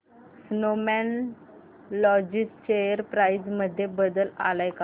Snowman logistics share price मध्ये बदल आलाय का